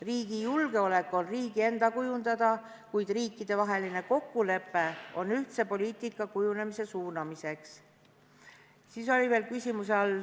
Riigi julgeolek on riigi enda kujundada, kuid riikidevaheline kokkulepe on ühtse poliitika kujunemise suunamiseks.